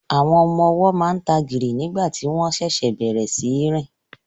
Àwọn ọmọ ọwọ́ máa ń tagìrì nígbà tí wọ́n ṣẹ̀ṣẹ̀ bẹ̀rẹ̀ sí í rìn